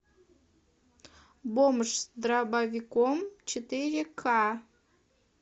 бомж с дробовиком четыре ка